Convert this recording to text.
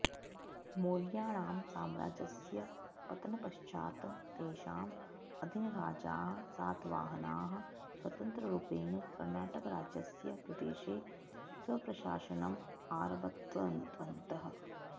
मौर्याणाम् साम्राज्यस्य पतनपश्चात् तेषाम् अधीनराजाः सातवाहनाः स्वतन्त्ररूपेण कर्णाटकराज्यस्य प्रदेशे स्वप्रशासनम् आरब्धवन्तः